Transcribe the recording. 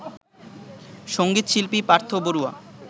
সঙ্গীত শিল্পী পার্থ বড়ুয়া